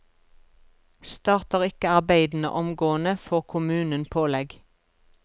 Starter ikke arbeidene omgående, får kommunen pålegg.